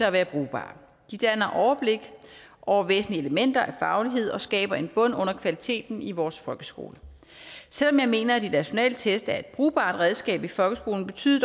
at være brugbare de danner overblik over væsentlige elementer af faglighed og skaber en bund under kvaliteten i vores folkeskole selv om jeg mener at de nationale test er et brugbart redskab i folkeskolen betyder